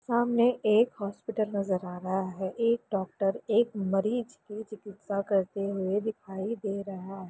सामने एक हॉस्पिटल नजर आ रहा हैं एक डॉक्टर एक मरीज की चिकित्सा करते हुए दिखाई दे रहा हैं।